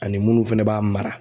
Ani munnu fɛnɛ b'a mara.